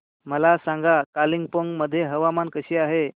मला सांगा कालिंपोंग मध्ये हवामान कसे आहे